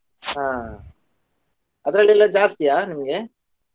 ಹಾ ಅದ್ರಲ್ಲೆಲ್ಲಾ ಜಾಸ್ತಿಯಾ ನಿಮ್ಗೆ?